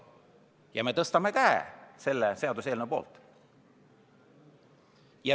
Ja me tõstame käe selle seaduseelnõu poolt!